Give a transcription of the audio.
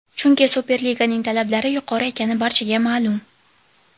Chunki Superliganing talablari yuqori ekani barchaga ma’lum.